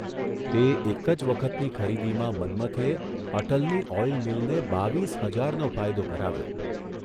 તે એક જ વખતની ખરીદીમાં મન્મથે અટલની ઓઇલ મીલને બાવીસ હજારનો ફાયદો કરાવ્યો.